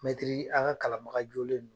a ka kalanbaga jolennu